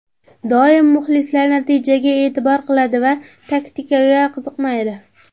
Doim muxlislar natijaga e’tibor qiladi va taktikaga qiziqmaydi.